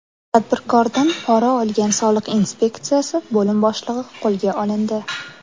Tadbirkordan pora olgan soliq inspeksiyasi bo‘lim boshlig‘i qo‘lga olindi.